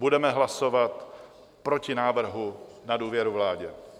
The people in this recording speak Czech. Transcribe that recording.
Budeme hlasovat proti návrhu na důvěru vládě.